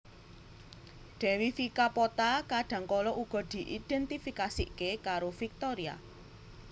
Dewi Vika Pota kadang kala uga diidentifikasike karo Viktoria